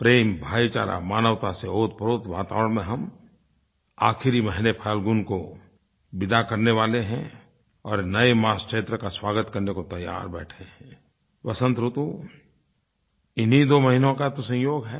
प्रेम भाईचारा मानवता से ओतप्रोत वातावरण में हम आख़िरी महीने फाल्गुन को विदा करने वाले हैं और नये मास चैत्र का स्वागत करने को तैयार बैठे हैं वसन्त ऋतु इन्हीं दो महीनों का तो संयोग है